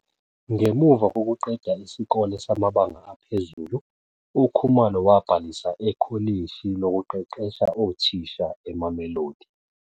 Ngemuva kokuqeda isikole samabanga aphezulu uKhumalo wabhalisa ekolishi lokuqeqesha othisha eMamelodi.